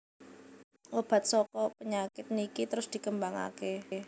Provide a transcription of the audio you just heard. Obat saka penyakit niki terus dikembangaken